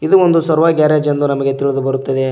ಇದು ಒಂದು servo garage ಎಂದು ನಮಗೆ ತಿಳಿದು ಬರುತ್ತದೆ.